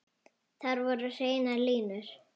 Þar voru hreinar línur.